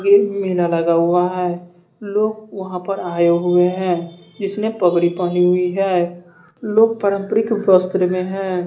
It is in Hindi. ये मेला लगा हुआ है लोग वहां पर आए हुए हैं इसने पगड़ी पानी हुई है लोग परंपरिक शास्त्र में है।